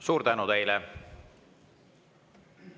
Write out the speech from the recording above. Suur tänu teile!